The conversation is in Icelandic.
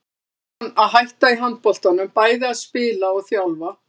Nú var hann að hætta í handboltanum, bæði að spila og þjálfa.